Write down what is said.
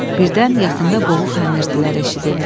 Birdən yaxında boğuq xanırıtılar eşidildi.